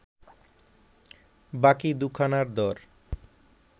বাকি দু’খানার দর